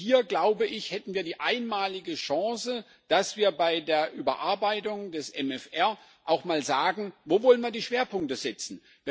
Und hier hätten wir die einmalige Chance, dass wir bei der Überarbeitung des MFR auch mal sagen Wo wollen wir die Schwerpunkte setzen?